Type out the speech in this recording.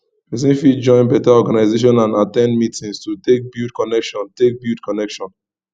persin fit join better organisation and at ten d meetings to take build connection take build connection